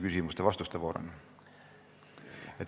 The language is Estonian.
Küsimuste ja vastuste voor on.